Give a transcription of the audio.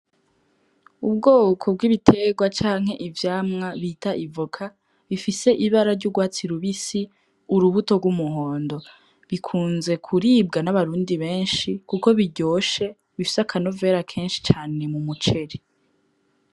Ubwoko bw'ibitegwa canke ivyamwa bita ivoka bifise ibara ry'ugwatsi rubisi urubuto gw'umuhondo. Bikunze kuribwa n'abarundi benshi kuko biryoshe bifise akanovera kenshi mumuceri.